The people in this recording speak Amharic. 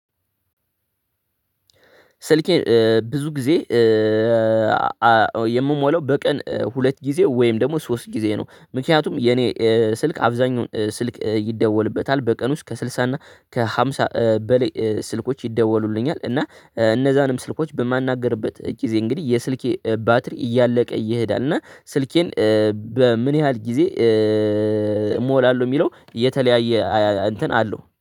ስልኬ ብዙ ጊዜ የምሞላው በቀን ሁለት ጊዜ ወይም ደግሞ ሶስት ጊዜ ነው። ምክንያትም የኔ ስልክ አብዛኛውን ስልክ ይደውልበታል በቀን ውስጥ ከስልሳ እና ከሐምሳ በላይ ስልኮች ይደወሉልኛል እና እነዛንም ስልኮች በማናገርበት ጊዜ እንግዲህ የስልኬ ባትሪ እያለቀ ይሄዳል እና ስልኬን በምን ያህል ጊዜ እሞላለሁ የሚለው የተለየ እንተን አለው።